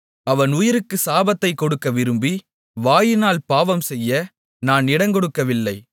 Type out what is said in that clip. அவன் உயிருக்குச் சாபத்தைக் கொடுக்க விரும்பி வாயினால் பாவம் செய்ய நான் இடங்கொடுக்கவில்லை